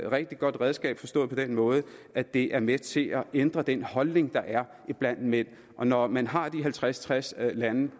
rigtig godt redskab forstået på den måde at det er med til at ændre den holdning der er iblandt mænd og når man har de halvtreds til tres lande